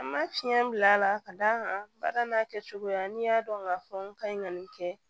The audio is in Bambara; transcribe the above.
An ma fiɲɛ bila la ka d'a kan baara n'a kɛcogoya n'i y'a dɔn k'a fɔ n ka ɲi ka nin kɛ